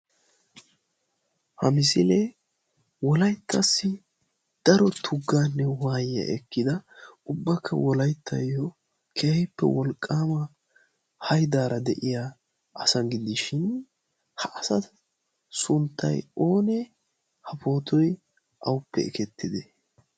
ha misiilee wolayttassi daro tuggaanne uwaayiyaa ekkida ubbakka wolayttayyo kehahippe wolqqaamaa hadaara de'iya asa giddishin ha asa sunttai oonee ha pootoy auppe ekettite?